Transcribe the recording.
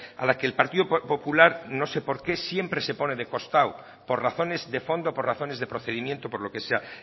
a la que el partido popular no seé por qué siempre se pone de costado por razones de fondo por razones de procedimiento o por lo que sea